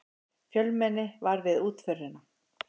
Fjölmenni var við útförina